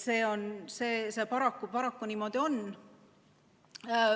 See paraku niimoodi on.